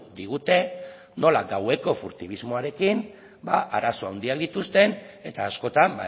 digute nola gaueko furtibismoarekin arazo handiak dituzten eta askotan